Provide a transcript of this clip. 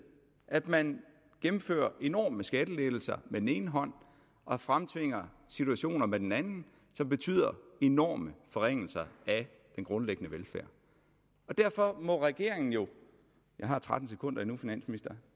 at man gennemfører enorme skattelettelser med den ene hånd og fremtvinger situationer med den anden som betyder enorme forringelser af den grundlæggende velfærd derfor må regeringen jeg har tretten sekunder endnu finansminister